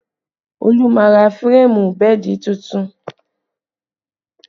Olu máa ra férémù bẹ́ẹ̀dì tuntun